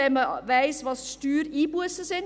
Man weiss, welches die Steuereinbussen sind.